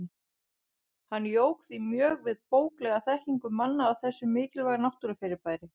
Hann jók því mjög við bóklega þekkingu manna á þessu mikilvæga náttúrufyrirbæri.